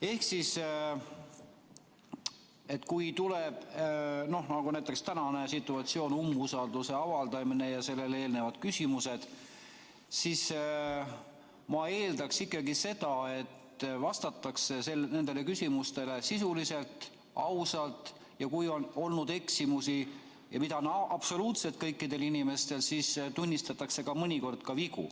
Ehk siis, kui tekib selline situatsioon nagu näiteks täna, umbusalduse avaldamine ja sellele eelnevad küsimused, ma eeldaks ikkagi seda, et nendele küsimustele vastatakse sisuliselt ja ausalt ja kui on olnud eksimusi – neid on olnud absoluutselt kõikidel inimestel –, siis tunnistatakse mõnikord ka vigu.